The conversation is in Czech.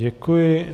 Děkuji.